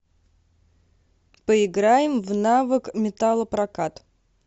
поиграем в навык металлопрокат